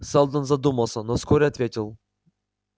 сэлдон задумался но вскоре ответил